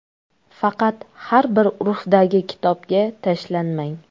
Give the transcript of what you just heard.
Faqat har bir urfdagi kitobga tashlanmang.